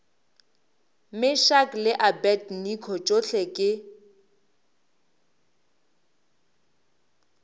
meshack le abednego tšohle ke